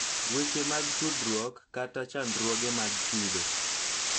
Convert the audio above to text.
Weche mag tudruok, kata chandruoge mag kido,